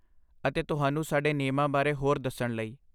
ਅਤੇ ਤੁਹਾਨੂੰ ਸਾਡੇ ਨਿਯਮਾ ਬਾਰੇ ਹੋਰ ਦੱਸਣ ਲਈ